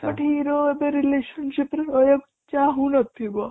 ଯୋଉଠି hero ଏବେ relationship ରେ ରହିବାକୁ ଚାହୁଁ ନ ଥିବ